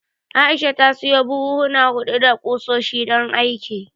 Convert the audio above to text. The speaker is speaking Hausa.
Aisha ta sayo buhuhuna huɗu na ƙusoshi, don aikin.